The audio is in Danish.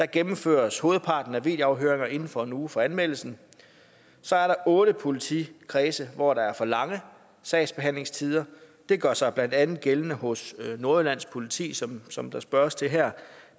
gennemføres hovedparten af videoafhøringerne inden for en uge fra anmeldelsen så er der otte politikredse hvor der er for lange sagsbehandlingstider det gør sig blandt andet gældende hos nordjyllands politi som som der spørges til her